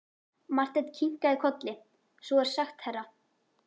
Marteinn kinkaði kolli: Svo er sagt herra.